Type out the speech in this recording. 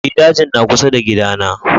Eh, dajin na kusa da kida na